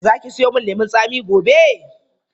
Za ki siyo min lemun tsami gobe.